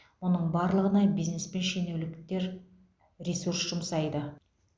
мұның барлығына бизнес пен шенеуніктер ресурс жұмсайды